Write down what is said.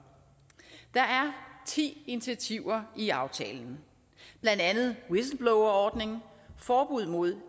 der er ti initiativer i aftalen blandt andet whistleblowerordningen forbud mod